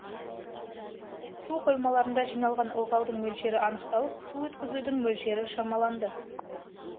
су қоймаларында жиналған ылғалдың мөлшері анықталып су өткізудің мөлшері шамаланды